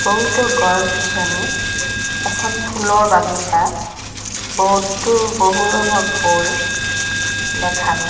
বহুতো গছ গছনি এখন ফুলৰ বাগিছা বহুতো বহু ৰঙৰ ফুল দেখা গৈ--